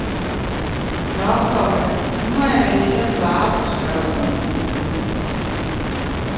Nå, komma nu må jeg vel hellere svare på spørgsmålene. punktum